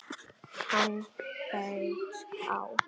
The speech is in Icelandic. Hann beit á!